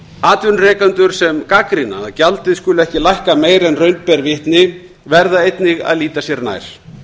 atvinnurekendur sem gagnrýna að gjaldið skuli ekki lækka meira en raun ber vitni verða einnig að líta sér nær